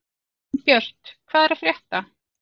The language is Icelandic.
Gunnbjört, hvað er að frétta?